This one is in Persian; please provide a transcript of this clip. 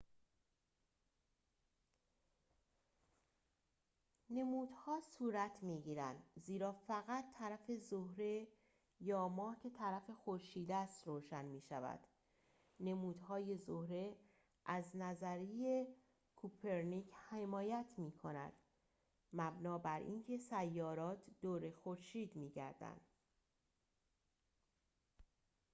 نمودها صورت می‌گیرند زیرا فقط طرف زهره یا ماه که طرف خورشید است روشن می‌شود. نمودهای زهره از نظریه کوپرنیک حمایت می‌کند مبنی براینکه سیارات دور خورشید می‌گردند